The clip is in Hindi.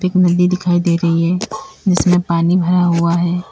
एक नदी दिखाई दे रही है जिसमें पानी भराहुआ है।